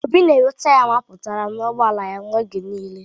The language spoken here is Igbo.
Obi na enwe taya mapụtara n'ugboala ya oge niile